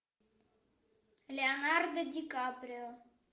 леонардо ди каприо